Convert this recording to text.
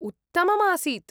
उत्तममासीत्।